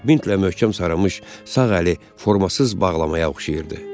Mintlə möhkəm sarımış sağ əli formasız bağlamaya oxşayırdı.